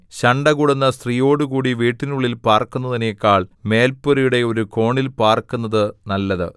ശണ്ഠകൂടുന്ന സ്ത്രീയോടുകൂടി വീടിനുള്ളിൽ പാർക്കുന്നതിനെക്കാൾ മേൽപുരയുടെ ഒരു കോണിൽ പാർക്കുന്നത് നല്ലത്